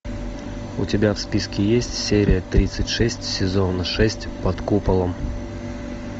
у тебя в списке есть серия тридцать шесть сезона шесть под куполом